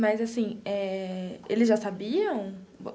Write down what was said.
Mas assim eh, eles já sabiam?